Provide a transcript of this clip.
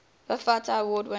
bafta award winners